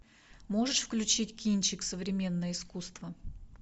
можешь включить кинчик современное искусство